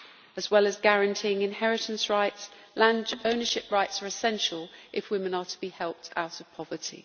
As well as guaranteeing inheritance rights, land ownership rights are essential if women are to be helped out of poverty.